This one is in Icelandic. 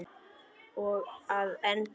Og að endingu þetta.